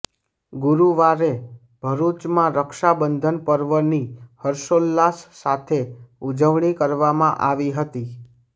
ગુરૃવારે ભરૃચમાં રક્ષાબંધન પર્વની હર્ષોલ્લાસ સાથે ઉજવણી કરવામાં આવી હતી